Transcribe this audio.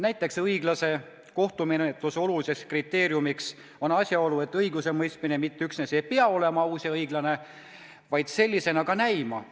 Näiteks on õiglase kohtumenetluse tähtis kriteerium asjaolu, et õigusemõistmine mitte üksnes ei pea olema aus ja õiglane, vaid sellisena ka näima.